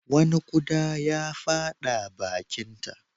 Wani ƙuda ya fada bakinta.